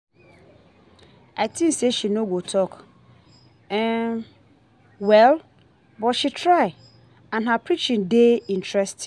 I think say she no go talk well but she try and her preaching dey interesting